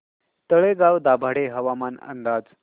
तळेगाव दाभाडे हवामान अंदाज